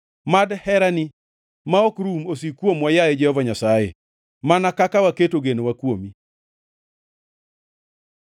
Mad herani ma ok rum osik kuomwa, yaye Jehova Nyasaye, mana kaka waketo genowa kuomi.